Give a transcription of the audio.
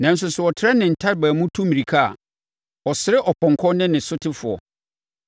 Nanso sɛ ɔtrɛ ne ntaban mu tu mmirika a, ɔsere ɔpɔnkɔ ne ne sotefoɔ.